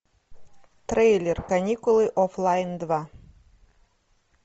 трейлер каникулы офлайн два